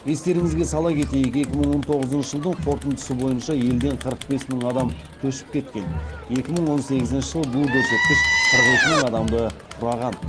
естеріңізге сала кетейік екі мың он тоғызыншы жылдың қорытындысы бойынша елден қырық бес мың адам көшіп кеткен екі мың он сегізінші жылы бұл көрсеткіш қырық екі мың адамды құраған